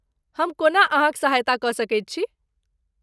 हम कोना अहाँक सहायता कऽ सकैत छी?